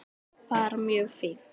Bara mjög fínt.